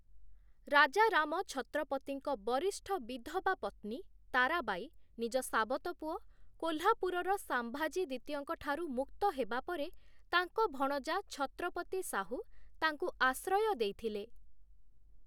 ରାଜାରାମ ଛତ୍ରପତିଙ୍କ ବରିଷ୍ଠ ବିଧବା ପତ୍ନୀ ତାରାବାଈ ନିଜ ସାବତପୁଅ, କୋଲ୍ହାପୁରର ସାମ୍ଭାଜୀ ଦ୍ଵିତୀୟଙ୍କ ଠାରୁ ମୁକ୍ତ ହେବାପରେ, ତାଙ୍କ ଭଣଜା ଛତ୍ରପତି ସାହୁ ତାଙ୍କୁ ଆଶ୍ରୟ ଦେଇଥିଲେ ।